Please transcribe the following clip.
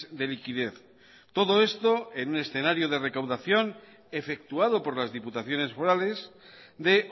de liquidez todo esto en un escenario de recaudación efectuado por las diputaciones forales de